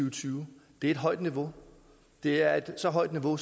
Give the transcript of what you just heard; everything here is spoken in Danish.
og tyve det er et højt niveau det er et så højt niveau